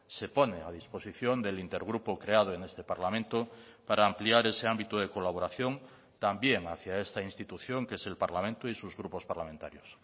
se pone a disposición del intergrupo creado en este parlamento para ampliar ese ámbito de colaboración también hacia esta institución que es el parlamento y sus grupos parlamentarios